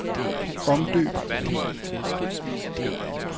Omdøb fil.